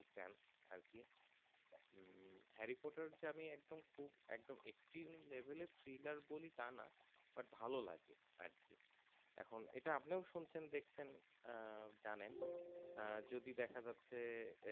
একদম Extreme level এর Trailer তা না but ভালো লাগে আরকি এটা আপনিও শুনছেন দেখছেন আহ জানেন যদি দেখা যাচ্ছে